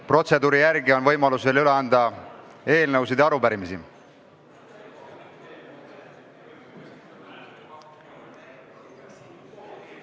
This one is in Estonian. Protseduuri järgi on võimalus veel üle anda eelnõusid ja arupärimisi.